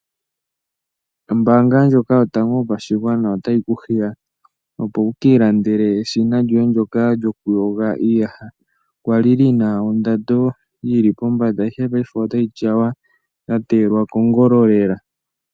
Ombaanga ndjoka yotango yopa shigwana ota yi kuhiya opo wukii landele eshina djoye ndjoka djoku yoga iiyaha, kwali yina ondado yili pombada ndee paife ota yi tyawa ya teyelwa kongolo lela.